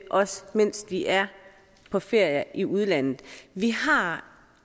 også mens de er på ferie i udlandet vi har